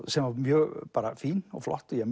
sem var mjög fín og flott og ég